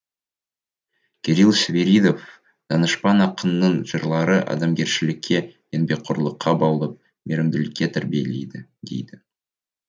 кирилл свиридов данышпан ақынның жырлары адамгершілікке еңбекқорлыққа баулып мейірімділікке тәрбиелейді дейді